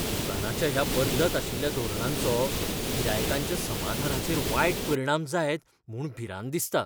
दुकानाच्या ह्या बदलत आशिल्ल्या धोरणांचो गिरायकांच्या समाधानाचेर वायट परिणाम जायत म्हूण भिरांत दिसता.